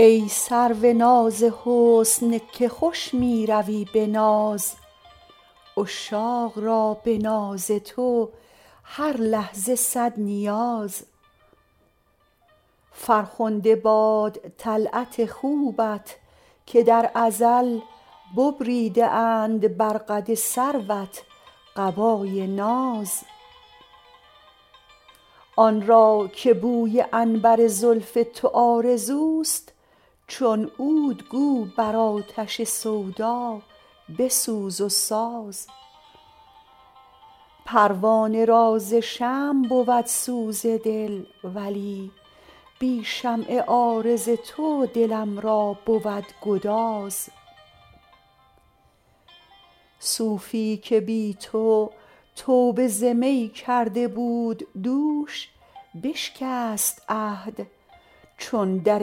ای سرو ناز حسن که خوش می روی به ناز عشاق را به ناز تو هر لحظه صد نیاز فرخنده باد طلعت خوبت که در ازل ببریده اند بر قد سروت قبای ناز آن را که بوی عنبر زلف تو آرزوست چون عود گو بر آتش سودا بسوز و ساز پروانه را ز شمع بود سوز دل ولی بی شمع عارض تو دلم را بود گداز صوفی که بی تو توبه ز می کرده بود دوش بشکست عهد چون در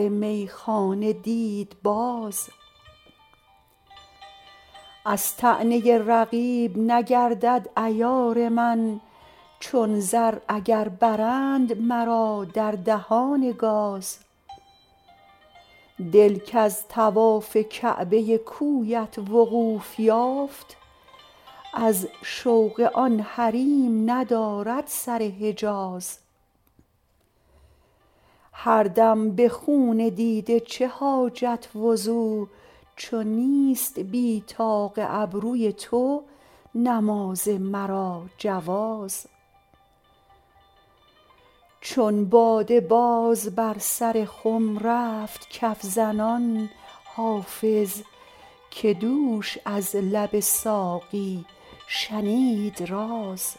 میخانه دید باز از طعنه رقیب نگردد عیار من چون زر اگر برند مرا در دهان گاز دل کز طواف کعبه کویت وقوف یافت از شوق آن حریم ندارد سر حجاز هر دم به خون دیده چه حاجت وضو چو نیست بی طاق ابروی تو نماز مرا جواز چون باده باز بر سر خم رفت کف زنان حافظ که دوش از لب ساقی شنید راز